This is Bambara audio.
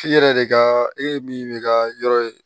F'i yɛrɛ de ka e min ka yɔrɔ ye